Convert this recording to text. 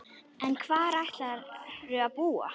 En hvar ætlarðu að búa?